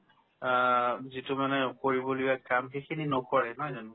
আ, যিটো মানে কৰিব লগীয়া কাম সেইখিনি নকৰে নহয় জানো